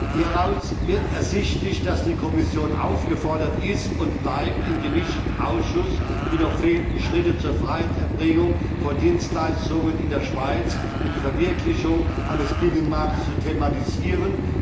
Hieraus wird ersichtlich, dass die Kommission aufgefordert ist und bleibt, im Gemischten Ausschuss die noch fehlenden Schritte zur freien Erbringung von Dienstleistungen in der Schweiz und die Verwirklichung eines Binnenmarktes zu thematisieren.